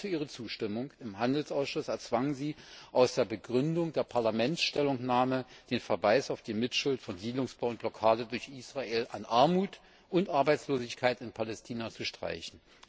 Als Preis für ihre Zustimmung im Handelsausschuss erzwang sie, aus der Begründung der Stellungnahme des Parlaments den Verweis auf die Mitschuld von Siedlungsbau und Blockade durch Israel an Armut und Arbeitslosigkeit in Palästina zu streichen.